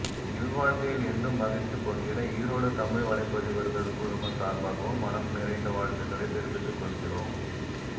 இல்வாழ்க்கையில் என்றும் மகிழ்ச்சி பொங்கிட ஈரோடு தமிழ் வலைப்பதிவர்கள் குழுமம் சார்பாகவும் மனம் நிறைந்த வாழ்த்துகளைத் தெரிவித்துக்கொள்கிறோம்